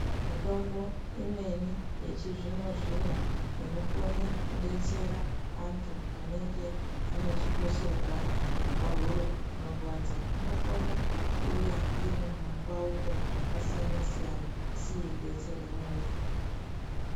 Mitombo imweni yechizvino-zvino inokone kudetsera antu anenge ane chikosorwa nepahuro panorwadza, inokone kuuya iri mumipauko yakasiyana-siyana, asi yeidetsere muntu.